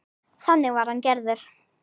Þannig var hann gerður.